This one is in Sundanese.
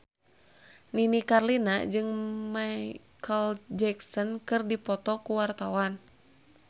Nini Carlina jeung Micheal Jackson keur dipoto ku wartawan